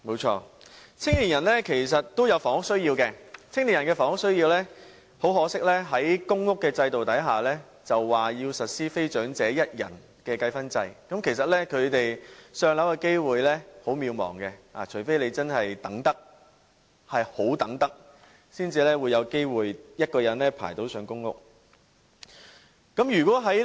青年人其實都有房屋需要，很可惜，公屋制度實施非長者一人的計分制，他們"上樓"的機會很渺茫，除非真是不怕等候多年，才有機會輪候到一人公屋單位。